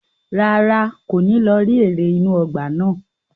Rárá, kò ní lọ rí eré inú ọgbà náà.